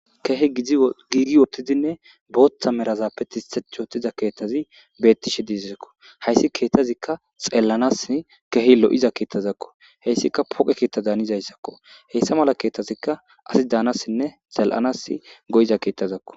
kehe giigi wottidinne booththa merazappe tiech otiza keettazi beettishe diizakko hayssi keettazikka xeellanas kehi lo7iza keettazakko heyssika poqe keetta daanizayssakko heyssa mala keettazikka asi daanasinne zal7anas go7iza keettazakko